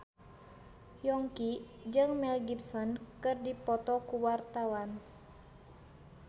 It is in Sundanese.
Yongki jeung Mel Gibson keur dipoto ku wartawan